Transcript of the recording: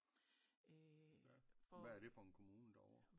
Hvad er det for en kommune der ovre